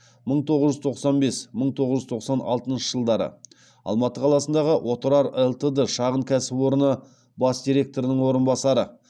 мың тоғыз жүз тоқсан бес мың тоғыз жүз тоқсан алтыншы жылдары алматы қаласындағы отырар лтд шағын кәсіпорны бас директорының орынбасары